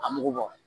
A mugu bɔ